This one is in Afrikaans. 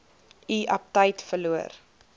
u aptyt verloor